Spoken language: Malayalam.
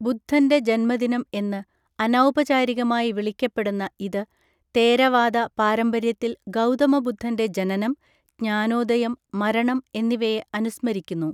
ബുദ്ധന്റെ ജന്മദിനം എന്ന് അനൗപചാരികമായി വിളിക്കപ്പെടുന്ന ഇത് തേരവാദ പാരമ്പര്യത്തിൽ ഗൗതമ ബുദ്ധന്റെ ജനനം, ജ്ഞാനോദയം, മരണം എന്നിവയെ അനുസ്മരിക്കുന്നു.